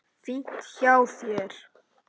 Fínt hjá þér.